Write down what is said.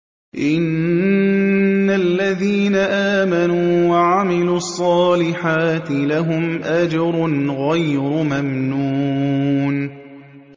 إِنَّ الَّذِينَ آمَنُوا وَعَمِلُوا الصَّالِحَاتِ لَهُمْ أَجْرٌ غَيْرُ مَمْنُونٍ